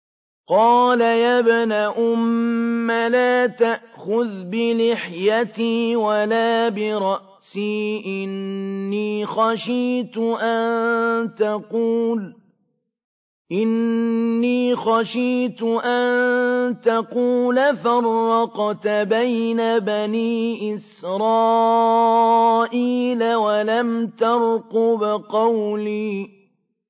قَالَ يَا ابْنَ أُمَّ لَا تَأْخُذْ بِلِحْيَتِي وَلَا بِرَأْسِي ۖ إِنِّي خَشِيتُ أَن تَقُولَ فَرَّقْتَ بَيْنَ بَنِي إِسْرَائِيلَ وَلَمْ تَرْقُبْ قَوْلِي